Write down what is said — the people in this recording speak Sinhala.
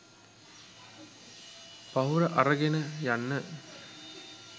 පහුර අරගෙන යන්න